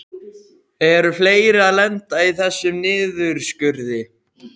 Eru fleiri að lenda í þessum niðurskurði?